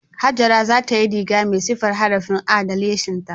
Hajara za ta yi riga mai siffar harafin A da lesinta